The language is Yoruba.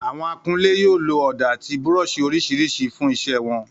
Àwọn akunlé yóò lo ọ̀dà àti búrọ́ọ̀ṣì oríṣiríṣi fún iṣẹ́ wọn